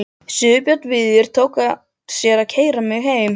Sigurbjörn Víðir tók að sér að keyra mig heim.